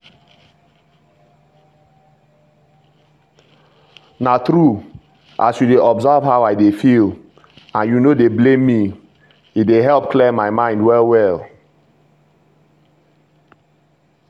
na true as you dey observe how i dey feel and you no dey blame me e dey help clear my mind well well.